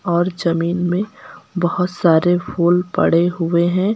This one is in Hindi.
और जमीन में बहोत सारे फूलों पड़े हुए हैं।